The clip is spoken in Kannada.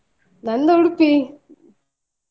ನಂದು Udupi .